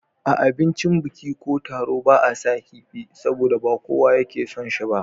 A abincin biki ko taro ba a saka kifi, saboda ba kowane yake son shi ba.